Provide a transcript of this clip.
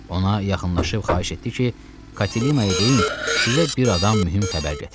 Ona yaxınlaşıb xahiş etdi ki, Katilinaya deyin, sizə bir adam mühüm xəbər gətirib.